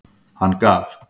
Hann gaf.